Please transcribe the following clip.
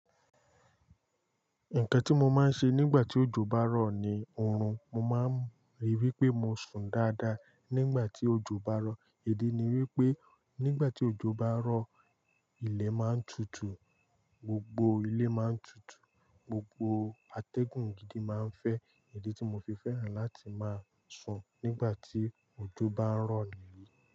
Nkan ti mo maa n se nigba ti ojo ba ro ni orun. Mo máa ń ríi wí pé mo sùn dáadáa nígbà tí òjò bá ń rọ̀. Idi ni wípé nígbà tí òjò bá rọ̀, ilẹ̀ máa ń tutù, gbogbo ilé máa ń tutù, gbogbo atẹ́gùn gidi máa ń fẹ́. Èdè tí mo fi fẹ́ràn láti máa sùn nígbà tí òjò bá ń rọ̀ nìyí.